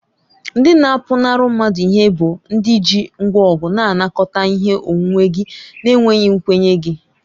Ndị na-apụnara mmadụ ihe bụ ndị ji ngwa ọgụ na-anakọta ihe onwunwe gị na-enweghị nkwenye gị.